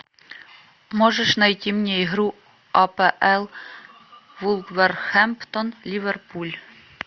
можешь найти мне игру апл вулверхэмптон ливерпуль